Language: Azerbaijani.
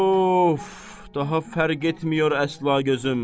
Of, daha fərq etmiyor əsla gözüm.